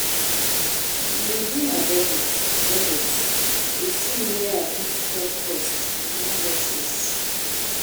I dey review my budget budget to see where I fit cut costs in emergencies.